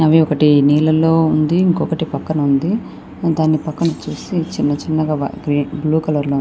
అవి ఒకటి నీళ్లల్లో ఉంది. ఒకటి పక్కన ఉంది. దాని పక్కన వచ్చేసి చిన్న చిన్న బ్లూ కలర్ లో ఉంది.